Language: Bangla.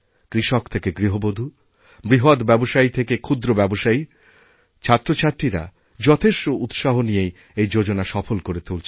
কৃষক থেকে গৃহবধূ বৃহৎ ব্যবসায়ী থেকে ক্ষুদ্র ব্যবসায়ী ছাত্রছাত্রীরা যথেষ্টউৎসাহ নিয়েই এই যোজনা সফল করে তুলছেন